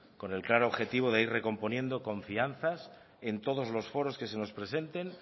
con el claro objetivo de ir recomponiendo confianzas en todos los foros que se nos presenten